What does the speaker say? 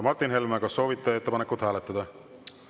Martin Helme, kas soovite ettepanekut hääletada?